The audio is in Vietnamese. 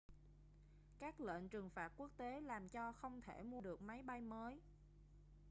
các lệnh trừng phạt quốc tế làm cho không thể mua được máy bay mới